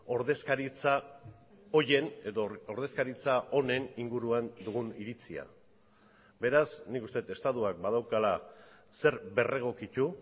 ordezkaritza horien edo ordezkaritza honen inguruan dugun iritzia beraz nik uste dut estatuak badaukala zer berregokitu